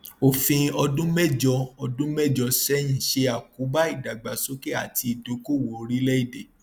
òfin ọdún méjọ ọdún méjọ sẹyìn ṣe àkóbá ìdàgbàsókè àti ìdókòòwò orílẹèdè